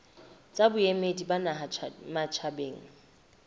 tsa boemedi ba naha matjhabeng